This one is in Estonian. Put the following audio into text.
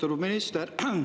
Austatud minister!